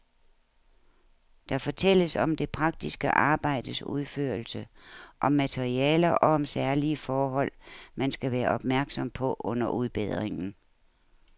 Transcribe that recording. Der fortælles om det praktiske arbejdes udførelse, om materialer og om særlige forhold, man skal være opmærksom på under udbedringen.